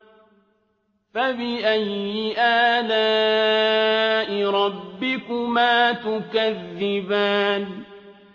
فَبِأَيِّ آلَاءِ رَبِّكُمَا تُكَذِّبَانِ